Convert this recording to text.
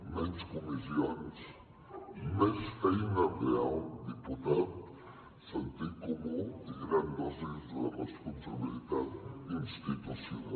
menys comissions més feina real diputat sentit comú i grans dosis de responsabilitat institucional